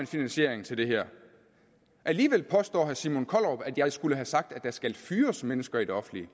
finansiering til det her alligevel påstår herre simon kollerup at jeg skulle have sagt at der skal fyres mennesker i det offentlige